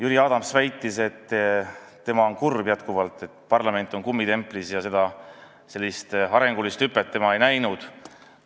Jüri Adams väitis, et tema on kurb, et parlament on endiselt kummitempliks, ja mingit arenguhüpet ta ei näinud.